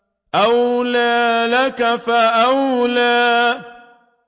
أَوْلَىٰ لَكَ فَأَوْلَىٰ